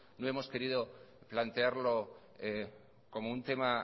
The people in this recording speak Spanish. no hemos querido plantearlo como un tema